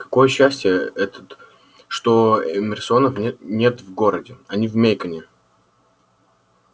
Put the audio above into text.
какое счастье этот что эмерсонов не нет в городе они в мейконе